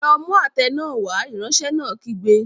Lọ mú àtẹ náà wá! Ìránṣẹ́ náà kígbe.